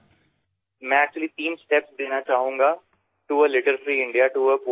ৰিপুদমনঃ মই প্ৰকৃততে তিনিটা পৰ্যায়ৰ বিষয়ে কবলৈ বিচাৰিম